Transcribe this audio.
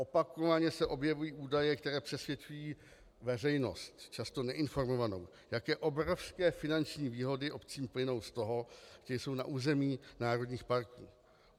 Opakovaně se objevují údaje, které přesvědčují veřejnost, často neinformovanou, jaké obrovské finanční výhody obcím plynou z toho, že jsou na území národních parků.